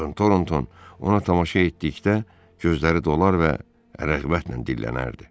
Con Toronton ona tamaşa etdikdə gözləri dolar və rəğbətlə dillənərdi.